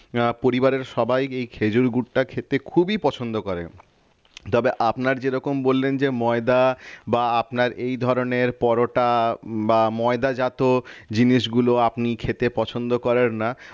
আহ পরিবারের সবাই এই খেজুর গুড়টা খেতে খুবই পছন্দ করে তবে আপনার যেরকম বললেন যে ময়দা বা আপনার এ ধরনের পরোটা বা ময়দা যাত জিনিসগুলো আপনি খেতে পছন্দ করেন না